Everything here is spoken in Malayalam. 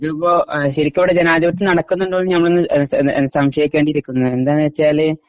ഇതിപ്പോ ശെരിക്കും ഇവിടെ ജനാതിപത്യം നടക്കുന്നുണ്ടോന്ന് ഞമ്മളൊന്ന് സംശയിക്കേണ്ടിയിരിക്കുന്നു എന്താന്നുവെച്ചാൽ